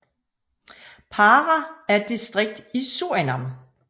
Para er et distrikt i Surinam